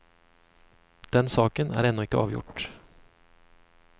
Den saken er ennå ikke avgjort.